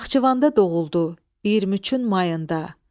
Naxçıvanda doğuldu 23-ün mayında.